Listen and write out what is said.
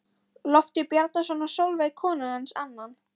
Loftur Bjarnason og Sólveig kona hans annan.